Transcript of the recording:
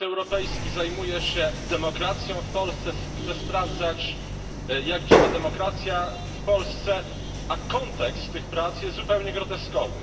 Parlament Europejski zajmuje się demokracją w Polsce, chce sprawdzać jak działa demokracja w Polsce, a kontekst tych prac jest zupełnie groteskowy.